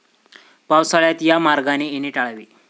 पावसाळ्यात या मार्गाने येणे टाळावे.